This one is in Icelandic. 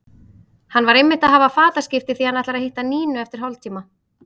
Hann var einmitt að hafa fataskipti því að hann ætlar að hitta Nínu eftir hálftíma.